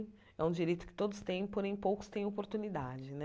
É um direito que todos têm, porém poucos têm oportunidade né.